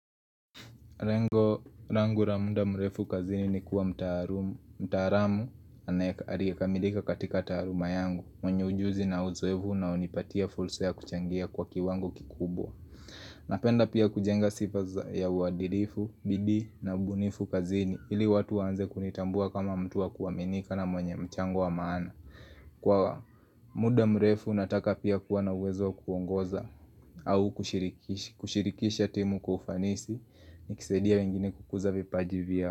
Lengo langu la muda murefu kazini ni kuwa mtaalumu, mtaalamu aliyekamilika katika taaluma yangu, mwenye ujuzi na uzoefu unaonipatia fursa kuchangia kwa kiwango kikubwa Napenda pia kujenga sifa za ya uadilifu, bidii na ubunifu kazini, ili watu waanze kunitambua kama mtu wa kuaminika na mwenye mchango wa maana Kwa muda mrefu nataka pia kuwa na uwezo wa kuongoza au kushirikisha timu kwa ufanisi ni kisaidia wengine kukuza vipaji vya.